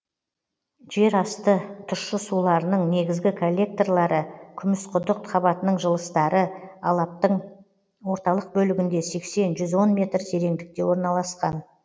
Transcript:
жер асты тұщы суларының негізгі коллекторлары күмісқұдық қабатының жылыстары алаптың орталық бөлінде сексен жүз он метр тереңдікте орналасқан